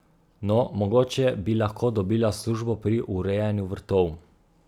No, mogoče bi lahko dobila službo pri urejanju vrtov.